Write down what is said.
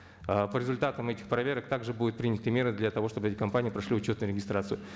ы по результатам этих проверок так же будут приняты меры для того чтобы эти компании прошли учетную регистрацию